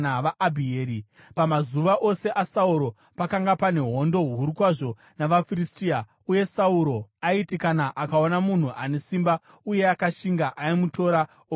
Pamazuva ose aSauro pakanga pane hondo huru kwazvo navaFiristia, uye Sauro aiti kana akaona munhu ane simba uye akashinga, aimutora omuita murwi wake.